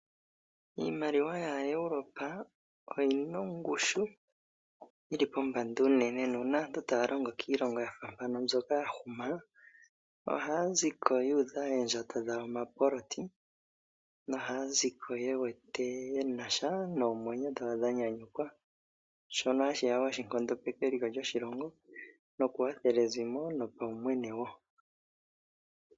Iimaliwa ya Europe oyina ongushu yili pombanda uunene na uuna aantu taya longo kiilongo yafa Mpaka ya huma ohaya ziko yuudha oondjato dhawo omapoloti nohaya ziko ye wete ye nasha noomwenyo dhawo dha nyanyukwa sho hashi nkondopeke eliko lyoshilongo nokuwathela ezimo nopaumwene wo.